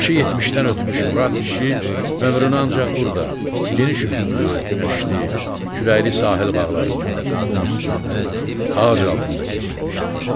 Yaşı 70-dən ötmüş Murad kişi ömrünü ancaq burda, geniş üfüqlü, günəşli, küləkli sahil bağlarında, qum üstündə, ağac altında keçirmişdi.